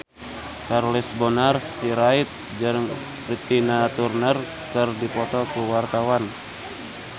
Charles Bonar Sirait jeung Tina Turner keur dipoto ku wartawan